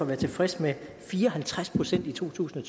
være tilfreds med fire og halvtreds procent i totusinde